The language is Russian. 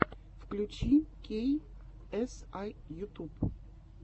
включи кей эс ай ютуб